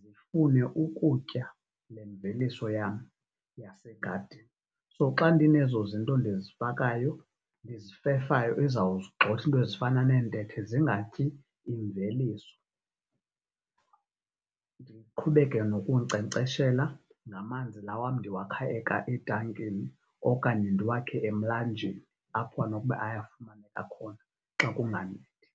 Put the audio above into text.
zifune ukutya le mveliso yam yasegadini. So, xa ndine zozinto ndizifakayo ndizifefayo izawugxotha into ezifana neentethe zingatyi imveliso. Ndiqhubeke nokunkcenkceshela namanzi, la wam ndiwakha etankini okanye ndiwakhe emlanjeni apho anokuba ayofumaneka khona xa kunganethi.